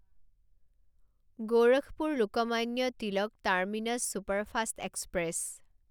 Gorakhpur Lokmanya Tilak terminus superfast express